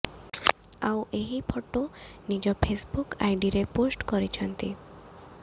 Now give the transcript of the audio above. ଆଉ ଏହି ଫଟୋ ନିଜ ଫେସବୁକ ଆଇଡିରେ ପୋଷ୍ଟ କରିଛନ୍ତି